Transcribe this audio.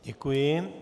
Děkuji.